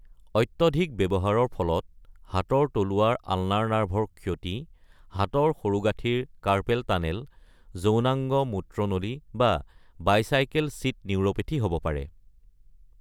অত্যধিক ব্যৱহাৰৰ ফলত হাতৰ তলুৱাৰ আলনাৰ নাৰ্ভৰ ক্ষতি, হাতৰ সৰুগাঁঠিৰ কাৰ্পেল টানেল, যৌনাংগ-মূত্ৰনলী বা বাইচাইকেল ছিট নিউৰ’পেথী হ’ব পাৰে।